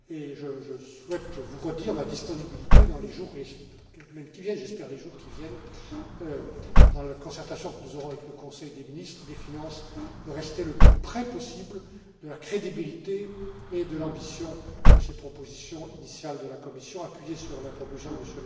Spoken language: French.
Je souhaite vous redire ma volonté, dans les semaines et, j'espère, les jours qui viennent, dans la concertation que nous aurons avec le Conseil des ministres des finances, de rester le plus près possible de la crédibilité et de l'ambition de ces propositions initiales de la Commission, qui se fondent sur la proposition de